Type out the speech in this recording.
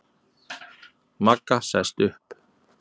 Magga sest upp.